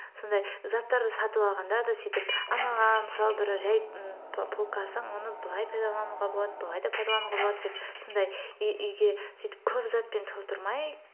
сондай заттарды сатып алғанда да сөйтіп анаған мысалы бір жай м п полкасы оны былай пайдалануға болады былай да пайдалануға болады деп сондай үйге сөйтіп көп затпен толтырмай